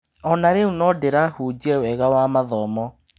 Ona rĩu no ndĩrahunjia wega wa mathomo.